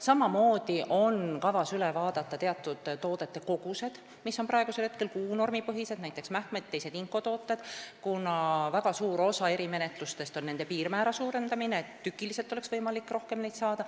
Samamoodi on kavas üle vaadata teatud toodete kogused, mis on praegusel hetkel kuunormipõhised, näiteks mähkmed ja teised inkotooted, kuna väga suur osa erimenetlustest on nende piirmäära suurendamine, et tükiliselt oleks võimalik neid rohkem saada.